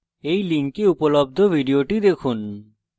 এই link উপলব্ধ video দেখুন